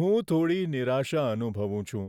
હું થોડી નિરાશા અનુભવું છું